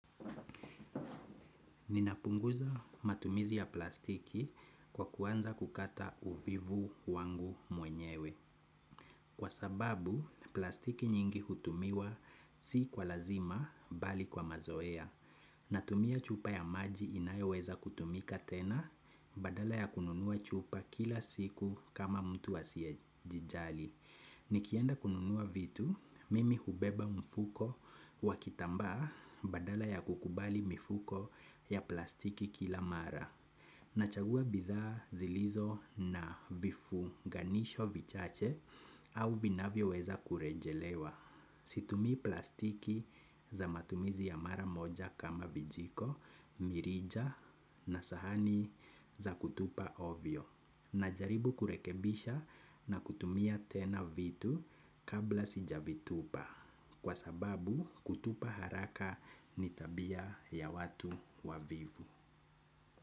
Ninapunguza matumizi ya plastiki kwa kuanza kukata uvivu wangu mwenyewe. Kwa sababu, plastiki nyingi hutumiwa si kwa lazima bali kwa mazoea. Natumia chupa ya maji inayoweza kutumika tena badala ya kununua chupa kila siku kama mtu asiyejijali. Nikienda kununua vitu, mimi hubeba mfuko wa kitambaa badala ya kukubali mifuko ya plastiki kila mara. Nachagua bidhaa zilizo na vifunganisho vichache au vinavyoweza kurejelewa. Situmii plastiki za matumizi ya mara moja kama vijiko, mirija na sahani za kutupa ovyo. Najaribu kurekebisha na kutumia tena vitu kabla sijavitupa kwa sababu kutupa haraka ni tabia ya watu wavivu.